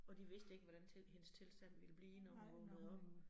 Og de vidste ikke, hvordan hendes tilstand ville blive, når hun vågnede op